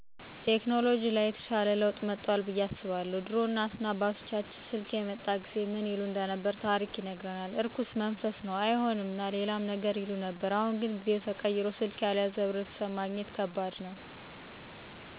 ቴከኖሎጅ ላይ የተሻለ ለውጥ መጦአል ብዬ አስባለሁ። ድሮ እናት እና አባቶቻችን ስልክ የመጣ ጊዜ ምን ይሉ እንደነበር ታሪክ ይነግረናል። እርኩስ መንፈስ ነው አይሆንም እና ሌላም ነገር ይሉ ነበር። አሁን ግን ጊዜው ተቀይሮ ስልክ ያልያዘ ሕብረተሰብ ማግኘት ከባድ ነው። ሌላው ለውጥ ደግሞ የመንገድ ሥራ ሲሆን አሁን ላይ ብዙ አዳዲስ መንገዶች በመሰራታቸው ማህበረሰቡ ያመረተውን ምርጥ በቀላሉ ወደ ገበያ ማድረስ እንዲችል አግዞታል።